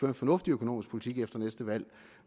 en fornuftig økonomisk politik efter næste valg